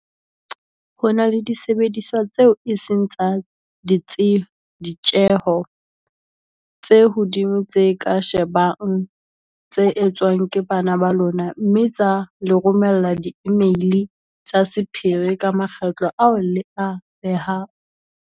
"Ho na le disebediswa tseo e seng tsa ditjeho tse hodimo tse ka shebang tse etswang ke bana ba lona mme tsa le romella diimeili tsa sephiri ka makgetlo ao le a behang."